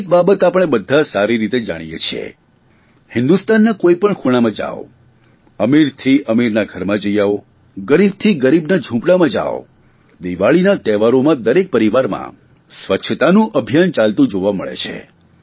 એક બાબત આપણે બધા સારી રીતે જાણીએ છીએ હિંદુસ્તાનના કોઇપણ ખૂણામાં જાવ અમીરથી અમીરના ઘરમાં જઇ આવો ગરીબથી ગરીબના ઝૂંપડામાં જાવ દિવાળીના તહેવારોમાં દરેક પરિવારમાં સ્વચ્છતાનું અભિયાન ચાલતું જોવા મળે છે